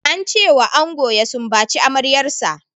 Ance wa ango ya sumbaci amaryar sa.